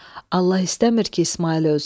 Allah istəmir ki, İsmayıl ölsün.